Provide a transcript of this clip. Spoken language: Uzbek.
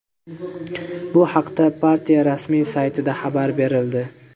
Bu haqda partiya rasmiy saytida xabar berildi .